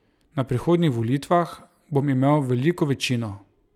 Na prihodnjih volitvah bom imel veliko večino!